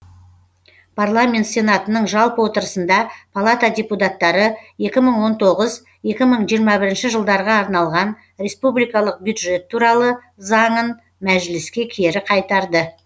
парламент сенатының жалпы отырысында палата депутаттары екі мың он тоғыз екі мың жиырма бірінші жылдарға арналған республикалық бюджет туралы заңын мәжіліске кері қайтарды